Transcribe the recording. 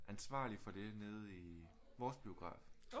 Ansvarlig for det nede i vores biograf